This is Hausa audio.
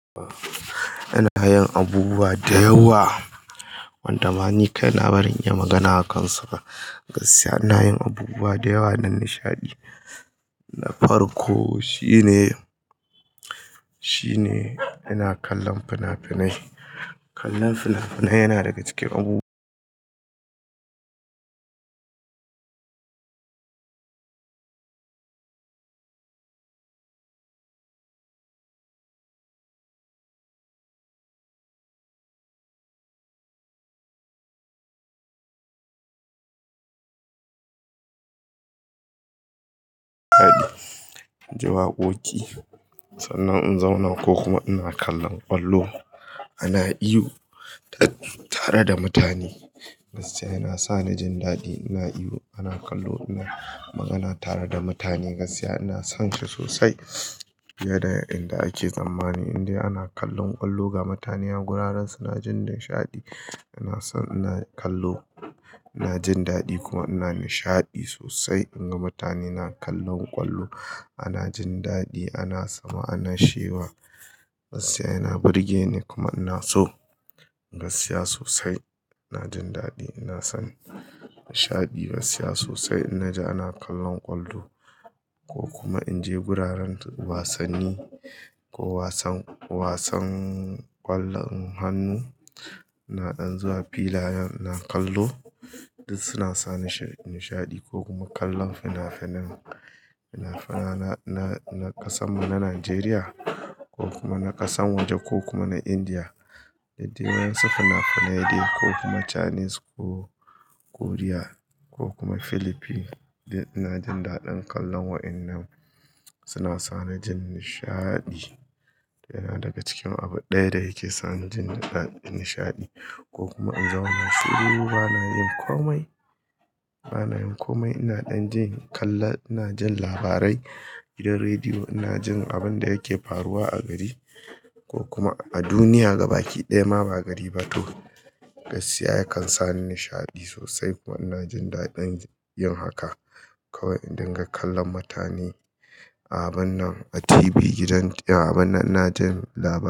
Ina yin abubuwa da yawa wanda manikaina baran iya magana a kansa su ba. Gaskiya ina yin abubuwa da yawa don nishaɗi. Na farko shine, shine ina kallon fina-finai. Kallon fina-finai yana daga cikin abubuwa jin daɗi, ji waƙoƙi sannan in zauna ko kuma ina kallon ƙwallo. Ana ihu tare da mutane. Gaskiya yana sani jin daɗi, ina ihu, ana ƙallo, ina magana tare da mutane. Gaskiya ina son shi sosai fiye da inda ake tsammani indai ana kallon ƙwallo ga mutane a guraren su. Na jin nishaɗi, ina son ina kallo. Na jin daɗi kuma ina nishaɗi sosai in ga mutane na kallon ƙwallo. Ana jin daɗi, ana sama, ana shewa. Gaskiya yana burge ni kuma ina so. Gaskiya sosai ina jin daɗi, ina son nishaɗi. Gaskiya sosai inna ji ana kallon ƙwallo ko kuma in je guraren wasanni ko wasan, wasan ƙwallon hannu. Ina ɗan zuwa filayen, ina kallo. Duk suna sa nishaɗi ko kuma kallon fina-finai. Fina-finai na ƙasa mu na Najeriya ko kuma na ƙasan waje ko kuma na Indiya. Daidai wa ya yi su fina-finai dai ko kuma Chinese ko Korea ko kuma Philippines. Ni ina jin daɗin kallon wa'innan. Suna sani jin nishaɗi yana daga cikin abu ɗaya da yake sani jin daɗi, nishaɗi ko kuma in zauna shiru. Bana yin komai, bana yin komai. Ina ɗan jin kalla, ina jin labarai gidan rediyo. Ina jin abin da yake faruwa a gari ko kuma a duniya. Gabakiɗaya ma ba gari ba toh. Gaskiya ya kan sa ni nishaɗi sosai kuma ina jin daɗin yin haka. Kawai idan ga kallan mutane a abun nan a TV gidan, a abun nan ina jin labarai.